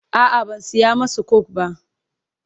a'a ban saya masu coke ba.